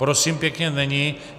Prosím pěkně, není.